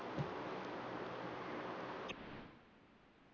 ਹਾਂ ਤੂੰ ਬੋਲ ਸਕਦੀ ਮੈਂ ਵਰਿੰਦਾਬਾਦ ਗਈ ਸੀ ਉਥੇ ਏਦਾ ਦੇ ਲੋਕ ਬਥੇਰੇ ਸੀ